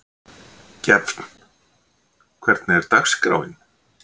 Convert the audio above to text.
Gefn, hvernig er dagskráin?